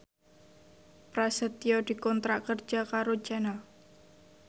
Prasetyo dikontrak kerja karo Channel